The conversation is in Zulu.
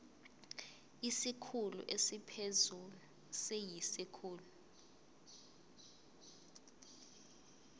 isikhulu esiphezulu siyisikhulu